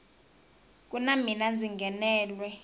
ku na mina ndzi nghenelwe